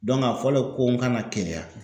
a fɔlen ko n kana Keleya.